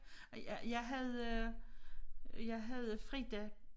Og jeg jeg havde øh jeg havde Frida